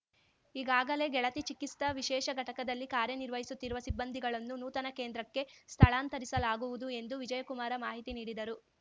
ಈಗಾಗಲೇ ಗೆಳತಿ ಚಿಕಿಸ್ತಾ ವಿಶೇಷ ಘಟಕದಲ್ಲಿ ಕಾರ್ಯ ನಿರ್ವಹಿಸುತ್ತಿರುವ ಸಿಬ್ಬಂದಿಗಳನ್ನು ನೂತನ ಕೇಂದ್ರಕ್ಕೆ ಸ್ಥಳಾಂತರಿಸಲಾಗುವುದು ಎಂದು ವಿಜಯಕುಮಾರ ಮಾಹಿತಿ ನೀಡಿದರು